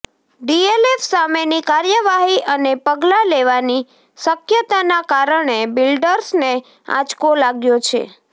DLF સામેની કાર્યવાહી અને પગલાં લેવાની શક્યતાના કારણે બિલ્ડર્સને આંચકો લાગ્યો છે